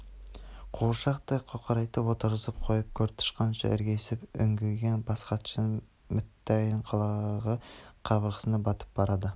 қуыршақтай қоқырайтып отырғызып қойып көртышқанша іргесін үңгіген бас хатшының мүттәйім қылығы қабырғасына батып барады